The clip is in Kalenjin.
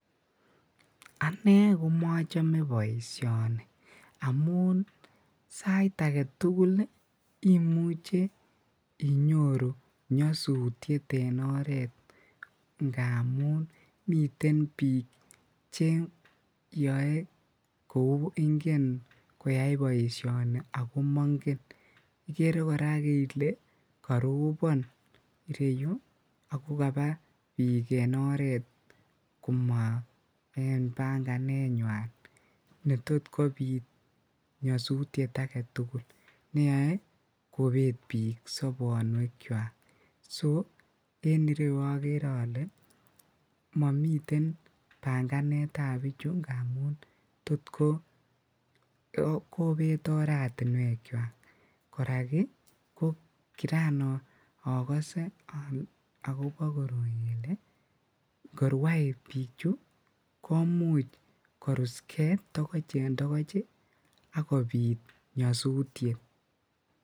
Ane komoche boisioni amu sait agetugul koimuche inyoru nyosutiet en oret ngamun miten bik cheyoe kou ingen koyai boisioni ako mongen ikere korak ile korobon ireyu akokabaa bik en oret koma en banganenywan netot kobit nyosutiet aketugul neyoe kobet bik sobonuekwak ,so en ireyu okere momiten banganetab bichu amun tot kobet oratinwekuak ko kiran okose okobo koroi kele bichu komuch korus kee togoch en togoch ii ak kobit nyosutiet.